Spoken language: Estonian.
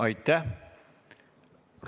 Aitäh!